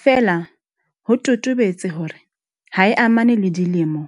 Feela ho totobetse hore ha e amane le dilemo,